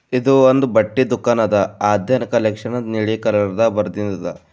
ಇದು ಒಂದು ಬಟ್ಟೆ ದುಖಾನದ ಆದ್ಯಾನ ಕಲೆಕ್ಷನ್ ಅಂತ ನೀಲಿ ಕಲರ್ದಾಗ ಬರೆದಿದ್ದದ.